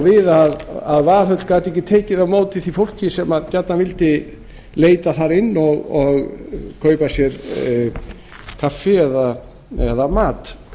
við að valhöll gat ekki tekið á móti því fólki sem gjarnan vildi leita þar inn og kaupa sér kaffi eða mat